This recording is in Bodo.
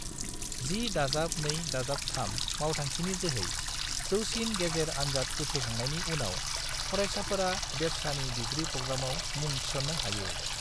10+2+3 मावथांखिनि जोहै, जौसिन गेजेर आन्जाद उथ्रिखांनायनि उनाव, फरायसाफोरा बेब्सानि डिग्री प्रग्रामआव मुं थिसननो हायो।